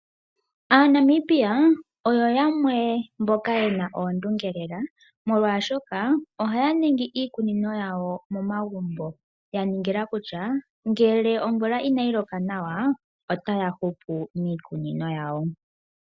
Aa Namibia oyo yamwe mboka yena oondunge lela, molwaashoka ohaya ningi iikunino yawo momagumbo, yaningila kutya ngele omvula inayi loka nawa otaya hupu miikunino yawo.